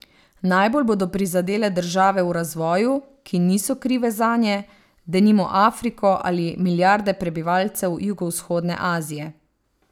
Najbolj bodo prizadele države v razvoju, ki niso krive zanje, denimo Afriko ali milijarde prebivalcev jugovzhodne Azije.